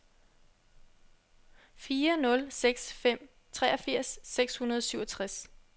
fire nul seks fem treogfirs seks hundrede og syvogtres